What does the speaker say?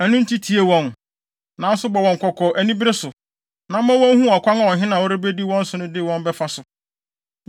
Ɛno nti, tie wɔn, nanso bɔ wɔn kɔkɔ anibere so, na ma wonhu ɔkwan a ɔhene a ɔrebedi wɔn so no de wɔn bɛfa so.”